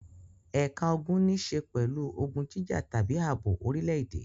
Ẹ̀ka ogun níṣe pẹ̀lú ogun jíjà tàbí ààbò orílẹ̀-èdè.